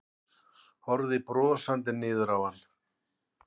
Horfði brosandi niður á hann.